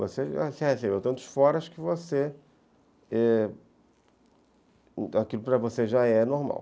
Você já recebeu tantos foras que você...é, aquilo para você já é normal.